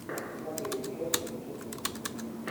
смотреть челси манчестер сити